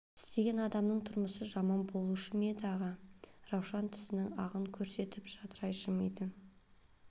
істеген адамның тұрмысы жаман болушы ма еді аға раушан тісінің ағын көрсетіп жадырай жымиды